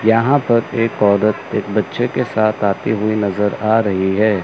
यहां पर एक औरत एक बच्चे के साथ आती हुई नजर आ रही है।